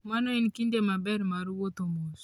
Mano en kinde maber mar wuotho mos.